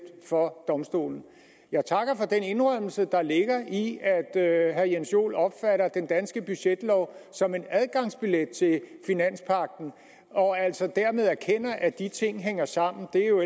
for domstolen jeg takker for den indrømmelse der ligger i at herre jens joel opfatter den danske budgetlov som en adgangsbillet til finanspagten og at han dermed erkender at de ting hænger sammen det er jo